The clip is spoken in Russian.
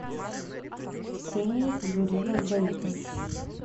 ксенией юрьевной заикой